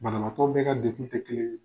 Banabaatɔ bɛ ka degun te kelen ye.